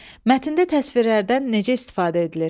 Mətndə təsvirlərdən necə istifadə edilir?